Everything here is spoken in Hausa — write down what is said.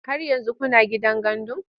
Har yanzu kuna gidan gandun?